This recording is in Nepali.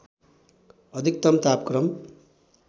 अधिकतम तापक्रम